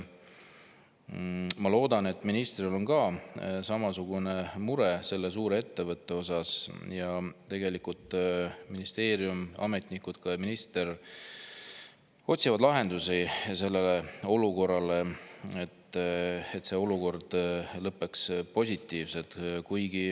Ma loodan, et ministril on ka samasugune mure selle suure ettevõtte pärast ning ministeerium, ametnikud ja ka minister otsivad lahendusi sellele olukorrale, et see lõppeks positiivselt.